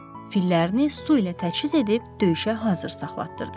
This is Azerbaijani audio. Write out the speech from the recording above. Fillərini su ilə təchiz edib döyüşə hazır saxlatdırdı.